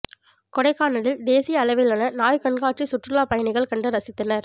கொடைக்கானலில் தேசிய அளவிலான நாய் கண்காட்சி சுற்றுலாப் பயணிகள் கண்டு ரசித்தனர்